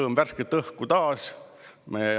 Sõõm värsket õhku taas!